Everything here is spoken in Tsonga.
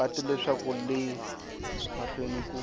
patu leswaku le mahlweni ku